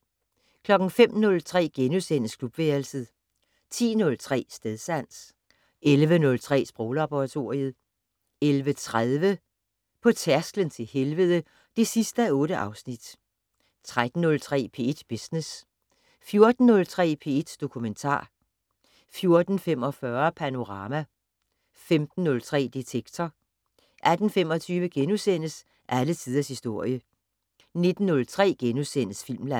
05:03: Klubværelset * 10:03: Stedsans 11:03: Sproglaboratoriet 11:30: På tærsklen til helvede (8:8) 13:03: P1 Business 14:03: P1 Dokumentar 14:45: Panorama 15:03: Detektor 18:25: Alle tiders historie * 19:03: Filmland *